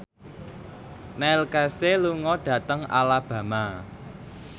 Neil Casey lunga dhateng Alabama